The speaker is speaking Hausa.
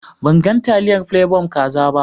Ban gan taliyar plebon kaza ba.